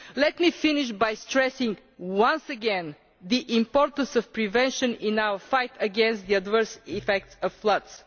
Let me finish by stressing once again the importance of prevention in our fight against the adverse effects of floods.